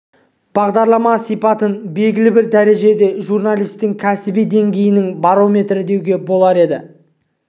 бағдарлама сипатын белгілі бір дәрежеде журналистің кәсіби деңгейінің барометрі деуге болар еді